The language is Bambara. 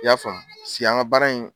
I y'a famu, sigi an ka baara in